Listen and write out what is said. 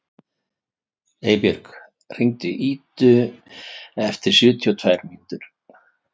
Einbjörg, hringdu í Idu eftir sjötíu og tvær mínútur.